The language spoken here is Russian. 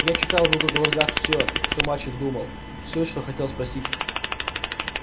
я читал в его глазах всё что мальчик думал всё что хотел спросить